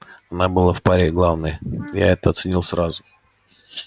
она была в паре главной я это оценил сразу